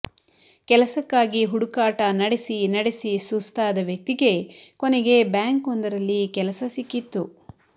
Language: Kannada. ಕೆಲಸಕ್ಕಾಗಿ ಹುಡುಕಾಟ ನಡೆಸಿ ನಡೆಸಿ ಸುಸ್ತಾದ ವ್ಯಕ್ತಿಗೆ ಕೊನೆಗೆ ಬ್ಯಾಂಕ್ ಒಂದರಲ್ಲಿ ಕೆಲಸ ಸಿಕ್ಕಿತ್ತು